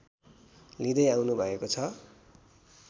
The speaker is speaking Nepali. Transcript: लिँदै आउनुभएको छ